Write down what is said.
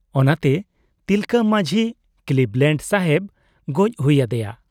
ᱚᱱᱟᱛᱮ ᱛᱤᱞᱠᱟᱹ ᱢᱟᱹᱡᱷᱤ ᱠᱞᱤᱵᱽᱞᱮᱸᱰ ᱥᱟᱦᱮᱵᱽ ᱜᱚᱡ ᱦᱩᱭ ᱟᱫᱮᱭᱟ ᱾